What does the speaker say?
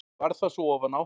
Varð það svo ofan á.